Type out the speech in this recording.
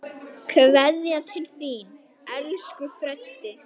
Kveðja til þín, elsku Freddi.